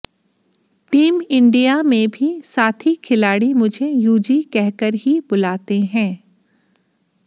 team India में भी साथी खिलाड़ी मुझे यूजी कहकर ही बुलाते हैं